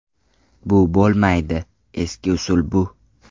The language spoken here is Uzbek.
Bu bo‘lmaydi, eski usul bu.